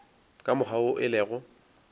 ka mokgwa wo e lego